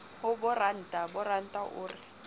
ho boranta boranta o re